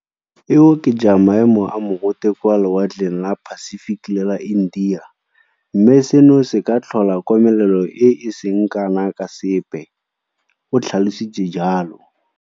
E oketsa maemo a mogote kwa lewatleng la Pacific le la India, mme seno se ka tlhola komelelo e e seng kana ka sepe, o tlha lositse jalo.